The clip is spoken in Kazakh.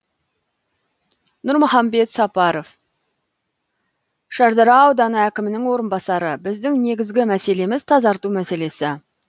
нұрмахамбет сапаров шардара ауданы әкімінің орынбасары біздің негізгі мәселеміз тазарту мәселесі